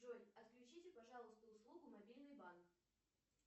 джой отключите пожалуйста услугу мобильный банк